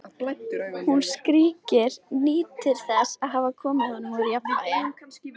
Hún skríkir, nýtur þess að hafa komið honum úr jafnvægi.